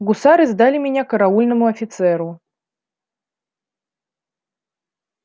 гусары сдали меня караульному офицеру